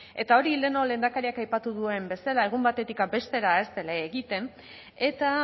eta hori lehenago lehendakariak aipatu duen bezala egun batetik bestera ez dela egiten eta